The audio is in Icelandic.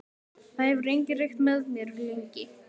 Það hefur enginn reykt með mér lengi.